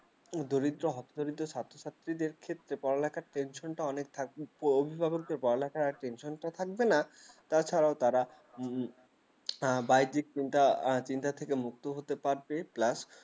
দরিদ্র হতদরিদ্রের ছাত্র-ছাত্রীদের ক্ষেত্রে পড়ালেখার tension টা থাকে অভিভাবকদের পরা লেখার tension টা থাকবে না তাছাড়াও তারা বাড়ির দিক চিন্তা মুক্ত হতে পারবে এ plus